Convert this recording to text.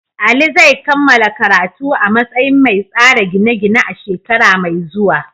Ali zai kammala karatu a matsayin mai tsara gine-gine a shekara mai zuwa.